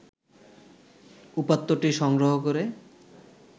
উপাত্তটি সংগ্রহ করে